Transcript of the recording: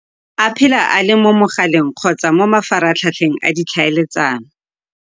A phela a le mo mogaleng kgotsa mo mafaratlhatlheng a ditlhaeletsano.